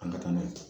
An ka taa n'a ye